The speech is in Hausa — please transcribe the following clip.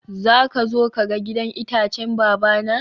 zaka zo ka ga gidan itacen babana?